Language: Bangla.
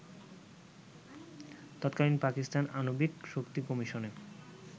তৎকালীন পাকিস্তান আণবিক শক্তি কমিশনে